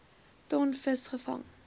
ton vis gevang